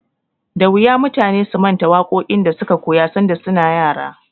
Da wuya mutane su manta waƙoƙin da suka koya sanda su na yara.